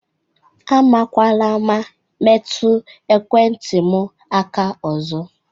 Amakwana ama metụ ekwentị m aka ozo!